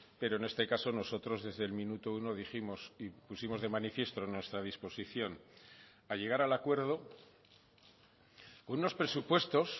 pero en este caso nosotros desde el minuto uno dijimos y pusimos de manifiesto nuestra disposición a llegar al acuerdo con unos presupuestos